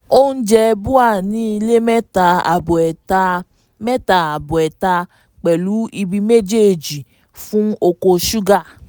oúnjẹ bua ní ilẹ̀ mẹ́ta àbọ̀ ẹ́ẹ̀tà mẹ́ta àbọ̀ ẹ́ẹ̀tà pẹ̀lú ibi méjèèjì fún oko ṣúgà.